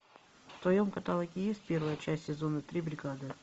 в твоем каталоге есть первая часть сезона три бригада